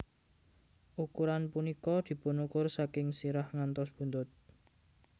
Ukuran punika dipunukur saking sirah ngantos buntut